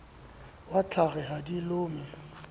wa tlhware ha di lome